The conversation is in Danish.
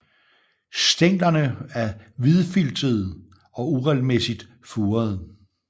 Stænglerne er hvidfiltede og uregelmæssigt furede